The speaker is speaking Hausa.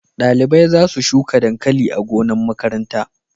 Dalibai za su shuka dankali a gonan makaranta